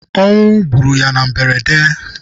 Ọnwụ gbụrụ ya na mberede.